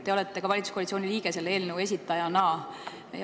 Te olete valitsuskoalitsiooni liige ja ühtlasi selle eelnõu esitaja.